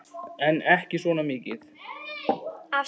En ekki svona mikið.